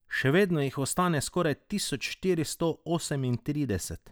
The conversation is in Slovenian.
Še vedno jih ostane skoraj tisoč štiristo osemintrideset.